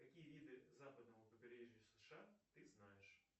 какие виды западного побережья сша ты знаешь